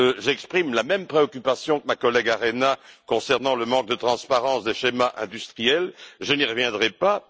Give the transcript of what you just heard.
J'exprime la même préoccupation que ma collègue Maria Arena concernant le manque de transparence des schémas industriels je n'y reviendrai pas.